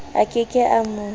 a ke ke a mo